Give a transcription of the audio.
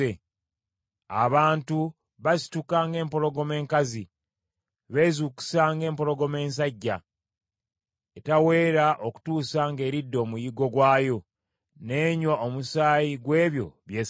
Abantu basituka ng’empologoma enkazi, beezuukusa ng’empologoma ensajja etaweera okutuusa ng’eridde omuyiggo gwayo n’enywa omusaayi gw’ebyo by’esse.”